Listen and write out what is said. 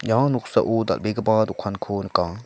anga noksao dal·begipa dokanko nika.